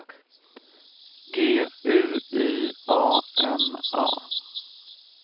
G U Y A N A